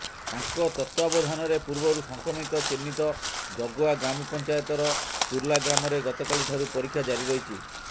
ତାଙ୍କ ତତ୍ୱାବଧାନରେ ପୁର୍ବରୁ ସଂକ୍ରମିତ ଚିହ୍ନିତ ଜଗୁଆ ଗ୍ରାମପଂଚାୟତର ତୁର୍ଲା ଗ୍ରାମରେ ଗତକାଲି ଠାରୁ ପରୀକ୍ଷା ଜାରି ରହିଛି